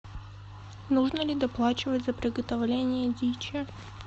нужно ли доплачивать за приготовление дичи